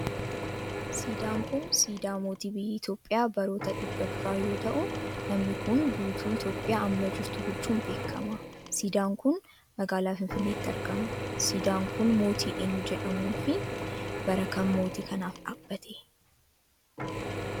Siidaan kun, siidaa mootii biyya Itoophiyaa baroota dhibba duraa yoo ta'u, namni kun guutuu Itoophiyaa amma jirtu bulchuun beekama. Siidaan kun, magaalaa finfinneetti argama. Siidaan kun mootii eenyu jedhamuun fi bara kam mootii kanaaf dhaabbate?